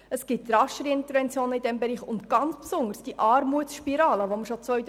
So kommt es in diesem Bereich rascher zu Interventionen.